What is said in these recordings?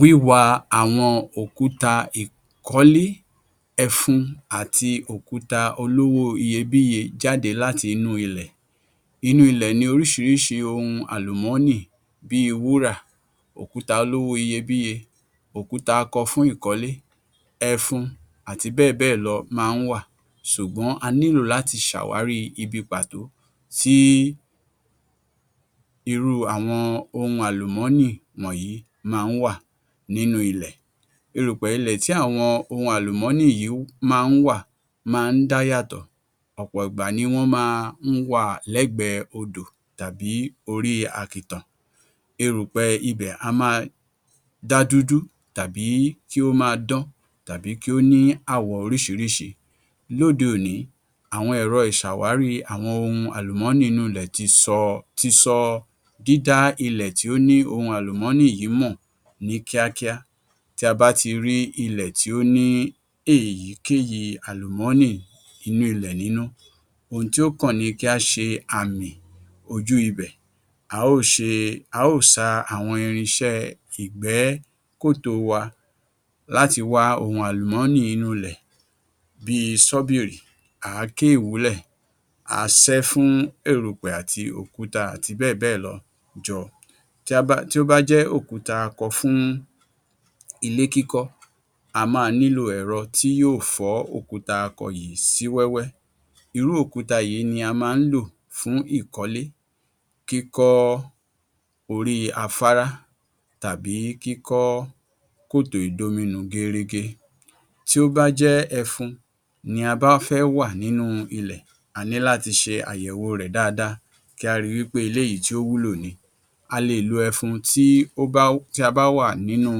Wíwa àwọn òkúta ìkọ́lé, ẹfun àti àwọn òkúta olówo iyebíye jáde láti inú ilẹ̀. Inú ilẹ̀ ni oríṣiríṣi ohun àlùmọ́nì bíi wúrà, òkúta olówo iyebíye, òkúta akọ fún ìkọ́lé, ẹfun àti bẹ́ẹ̀ bẹ́ẹ̀ lọ ma ń wà, sùgbọ́n a nílò láti ṣe àwárí ibì pàtó tí irú ohun àwọn àlùmọ́nì yìí ma ń wà nínu ilẹ̀. Erùpè ilẹ̀ tí àwọn ohun àlùmọ́nì yìí ma ń wà ma ń dá yàtọ̀, ọ̀pọ̀ ìgbà ni wọ́n ma ń wà lẹ́gbẹ odò tàbí orí àkìtàn, erùpẹ̀ ibẹ̀ á máa dá dúdú tàbí kí ó máa dán tàbí kí ó ní àwọ oríṣiríṣi. Lóde òní àwọn èrọ ìsàwárí àwọn ohun àlùmọ́nì inú ilẹ̀ ti sọ dída ilẹ̀ tí ó ni ohun àlùmọ́nì yìí mọ́ ní kíákíá, tí a bá ti rí ilẹ̀ tí ó ní èyíkéyi àlùmọ́ni inú ilẹ̀ nínu, ohun tí ó kàn ni kí á ṣe àmì sí ojú ibẹ̀, a ṣa àwọn irin iṣẹ́ ìgbẹ́kòtò wa, láti wá ohun àlùmọ́nì inú ilẹ̀ bíi ṣọ́bìrì, àáké ìwúlẹ̀, àṣẹ fún erùpẹ̀ òkúta, àti bẹ́ẹ̀ bẹ́ẹ̀ lọ jọ, tí ó bá jẹ́ òkúta akọ fún ilé kíkọ́ a máa nílo ẹ̀rọ tí yóò fọ òkúta akọ yìí sí wẹ́wẹ́, irú òkúta yìí ni a ma ń ló fún ìkọ́lé, kíkọ orí afárá, tàbí kíkọ́ kòto ìdominù géérégé, tí ó bá jẹ́ ẹfun ni a bá fẹ́ wà nínú ilẹ̀ a ní láti ṣe àyẹ̀wo rẹ̀ dáadáa, kí a ríi wípé eléyìí tí ó wúlò ni, a lè lo ẹfun tí a bá wà nínú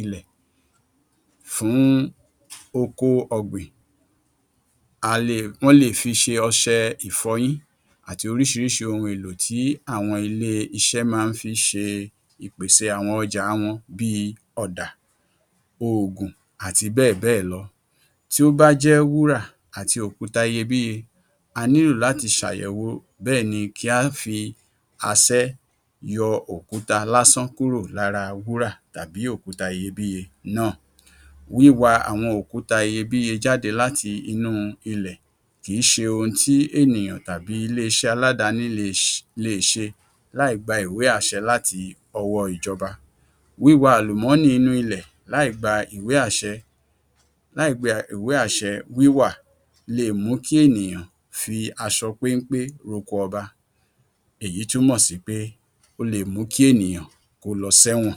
ilẹ̀ fún oko ọ̀gbìn, wọ́n lè fi ṣe ọṣẹ ìfọyín àti oríṣiríṣi ohun èlò tí àwọn ilé iṣẹ́ ma ń fi ṣe, ìpèsè àwọn ọjà wọn ní ọ̀dà, òògùn àti bẹ́ẹ̀ bẹ́ẹ̀ lọ, tí ó bá jẹ́ wúrà àti òkúta iyebíye, a nílò láti ṣàyẹ̀wò bẹ́ẹni kí a fi àsẹ́ yọ òkúta lásán tó wà lára òkùta wúrà tàbí òkúta iyebíye náà, wíwa òkúta iyebíye jáde láti inú ilẹ̀ kìí ṣe ohun tí ènìyàn tàbí ilé iṣẹ́ aládàáni lè ṣe láì gbà ìwé àṣe láti ọwọ́ ìjọba, wíwá àlùmọ́nì inú ilẹ̀ láì gbà ìwé àṣe wíwà lè mú kí ènìyàn fì aṣọ péńpé roko ọba, èyí túnmọ̀ sí pé ó lè mú kí ènìyàn lọ sí ẹ̀wọ̀n.